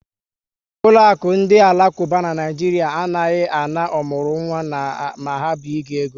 Ụlọakụ ndị alakuba n' Naijiria anaghị ana ọmụrụnwa na ha binye ego